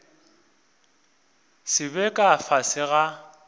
se be ka fase ga